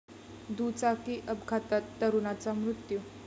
दुचाकी अपघातात तरुणाचा मृत्यू